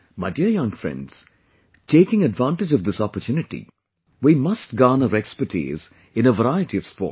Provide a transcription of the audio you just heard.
My dear young friends, taking advantage of this opportunity, we must garner expertise in a variety of sports